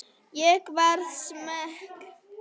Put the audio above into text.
Ég verð smeyk.